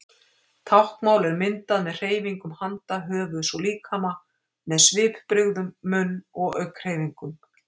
Táknmál er myndað með hreyfingum handa, höfuðs og líkama, með svipbrigðum, munn- og augnhreyfingum.